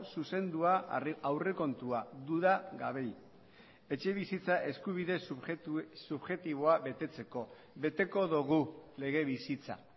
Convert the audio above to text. zuzendua aurrekontua duda gabe etxebizitza eskubide subjektiboa betetzeko beteko dugu lege bizitza